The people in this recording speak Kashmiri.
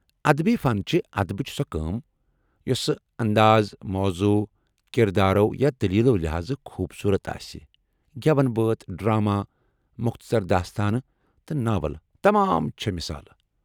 ادبی فن چھِ ادبٕچ سۄ کٲم یۄسہٕ انٛداز، موضوع، کردارو، یا دٔلیٖلہِ لحاظہٕ خوبصورت آسہِ ،گیون بٲتھ ، ڈر٘اما، مختصر داستانہٕ تہٕ ناول تمام چھے٘ مثالہٕ ۔